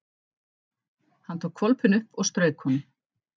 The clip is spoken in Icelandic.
Hann tók hvolpinn upp og strauk honum.